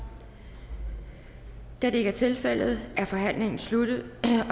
da det ikke er tilfældet er forhandlingen sluttet